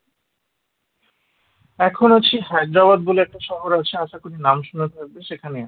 এখন আছি হায়দ্রাবাদ বলে একটা শহর আছে আশা করি নাম শুনে থাকবে সেখানে